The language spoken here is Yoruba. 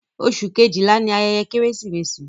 Oṣù kejìlá ni ayẹyẹ Kérésìmesì.